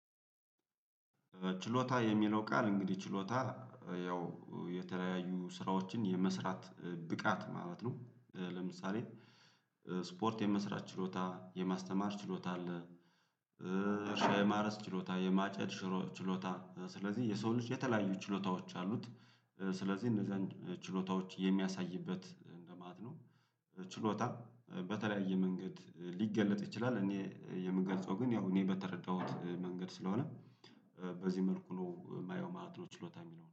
ችሎታ የሚለው ቃል እንግዲህ ችሎታ ያው የተለያዩ ስራዎችን የመስራት ብቃት ማለት ነው፤ ለምሳሌ ስፖርት የመስራት ችሎታ የማስተማር ችሎታ አለ እርሻ የማረስ ችሎታ የማጨድ ችሎታ ስለዚህ የሰው ልጅ የተለያዩ ችሎታዎች አሉት ስለዚህ እነዛን ችሎታዎች የሚያሳይበት እንደማለት ነው ችሎታ በተለያየ መንገድ ሊገለጥ ይችላል እኔ የምገልጸው ግን ያው እኔ በተረዳሁት መንገድ ስለሆነ በዚህ መልኩ ነው የማየው ማለት ነው ችሎታ የሚለውን።